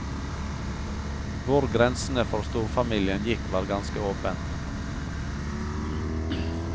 Hvor grensene for storfamilien gikk var ganske åpent.